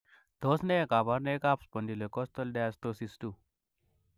Tos nee koborunoikab Spondylocostal dysostosis 2.